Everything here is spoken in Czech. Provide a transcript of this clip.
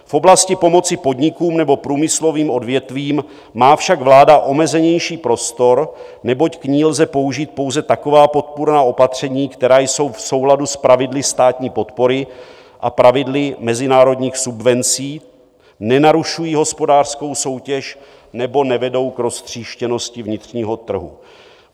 V oblasti pomoci podnikům nebo průmyslovým odvětvím má však vláda omezenější prostor, neboť k ní lze použít pouze taková podpůrná opatření, která jsou v souladu s pravidly státní podpory a pravidly mezinárodních subvencí, nenarušují hospodářskou soutěž nebo nevedou k roztříštěnosti vnitřního trhu.